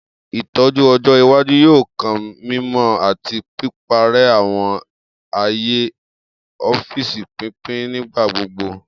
Itọju ọjọ iwaju yoo kan mimọ ati piparẹ awọn aaye ọfiisi pinpin nigbagbogbo.